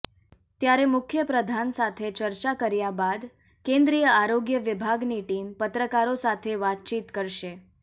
ત્યારે મુખ્યપ્રધાન સાથે ચર્ચા કર્યા બાદ કેન્દ્રીય આરોગ્ય વિભાગની ટીમ પત્રકારો સાથે વાતચીત કરશે